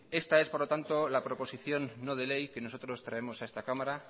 esta es por lo tanto la proposición no de ley que nosotros traemos a esta cámara